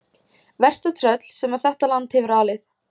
Versta tröll sem þetta land hefur alið.